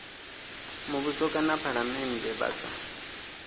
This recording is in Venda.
muvhuso kana phalamennde vha sa